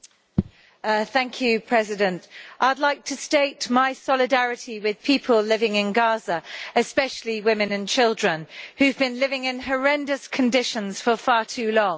Mr President, I'd like to state my solidarity with people living in Gaza, especially women and children, who've been living in horrendous conditions for far too long.